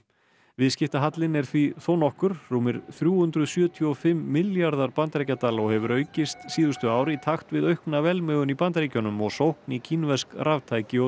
viðskiptahallinn er því þónokkur rúmir þrjú hundruð sjötíu og fimm milljarðar bandaríkjadala og hefur aukist síðustu ár í takt við aukna velmegun í Bandaríkjunum og sókn í kínversk raftæki og